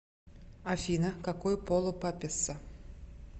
афина какой пол у папесса